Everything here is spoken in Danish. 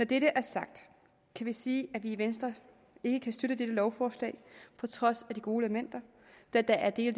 dette er sagt kan vi sige at vi i venstre ikke kan støtte dette lovforslag på trods af de gode elementer da der er dele